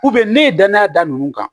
ne ye danaya da nunnu kan